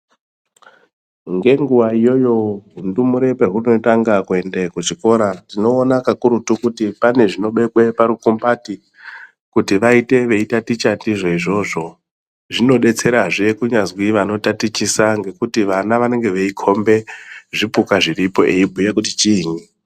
Ngenguwa iyoyo ndumurwe padzinotanga kuenda kuzvikora tinoona kakurutu kuti pane zvinobekwa parukumbati kuti vaite veitaticha ndizvo izvozvo zvinodetserazve kunyazwi vanotatichisa nekuti vana vanenge vaikombe zvipuka zviripo veibhuya kuti chini.